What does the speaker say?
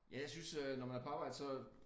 Ja jeg synes øh når man er på arbejde så